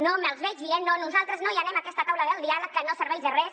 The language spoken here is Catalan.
no me’ls veig dient no nosaltres no hi anem a aquesta taula del diàleg que no serveix de res